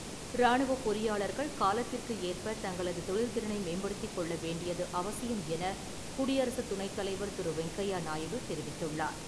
ராணுவப் பொறியாளர்கள் காலத்திற்கு ஏற்ப தங்களது தொழில் திறனை மேம்படுத்திக்கொள்ள வேண்டியது அவசியம் எனக் குடியரசு துணைத் தலைவர் திரு. வெங்கையா நாயுடு தெரிவித்துள்ளார்.